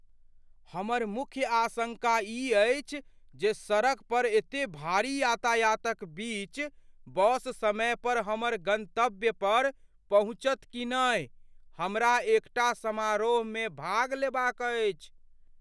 हमर मुख्य आशंका ई अछि जे सड़क पर एते भारी यातायातक बीच बस समय पर हमर गन्तव्य पर पहुँचत कि नहि। हमरा एकटा समारोहमे भाग लेबाक अछि।